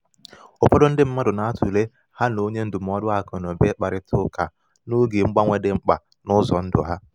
ụfọdụ ndi mmadụ na-atụle ha na onye ndụmọdụ aku na uba ikparita uka n’oge mgbanwe dị mkpa n’ụzọ ndụ ha.